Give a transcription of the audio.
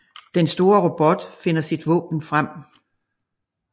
Den store robot finder sit våben frem